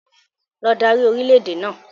Lọ dárí orìlẹ̀ èdè náà!